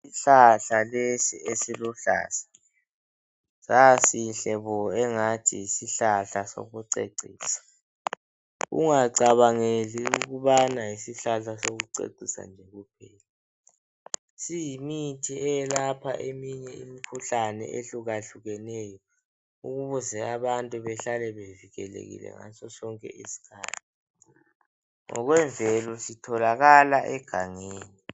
Isihlahla lesi esiluhlaza sasihle bo engathi yisihlahla sokucecisa ungacabangeli ukubana yisihlahla sokucecisa nje kuphela siyimithi eyelapha eminye imikhuhlane ehlukahlukeneyo ukuze abantu bahlale bevikelekile ngaso sonke isikhathi, ngokwemvelo sitholakala egangeni.